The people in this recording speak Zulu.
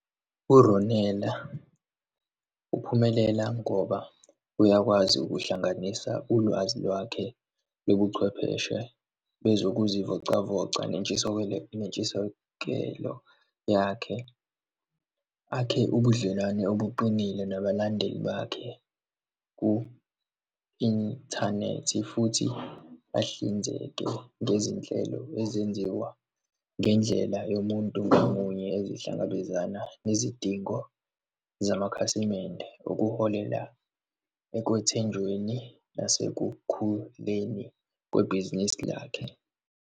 URonela uphumelela ngoba uyakwazi ukuhlanganisa ulwazi lwakhe lobuchwepheshe bezokuzivocavoca, nentshisokelo, nentshisekelo yakhe, akhe ubudlelwano obuqinile nabalandeli bakhe ku-inthanethi, futhi bahlinzeke ngezinhlelo ezenziwa ngendlela yomuntu ngamunye esihlangabezana nezidingo zamakhasimende, okuholela ekwethenjweni nasekukhuleni kwebhizinisi lakhe.